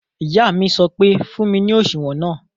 Ìyá mi sọ pé "fún mi ní òṣùwọ̀n náà!"